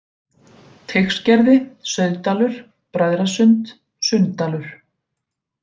Teigsgerði, Sauðdalur, Bræðrasund, Sunndalur